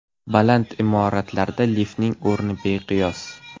Baland imoratlarda liftning o‘rni beqiyos.